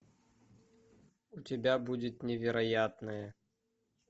у тебя будет невероятное